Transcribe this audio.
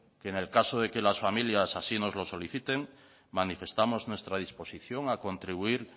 que en el caso de que las familias así nos lo soliciten manifestamos nuestra disposición a contribuir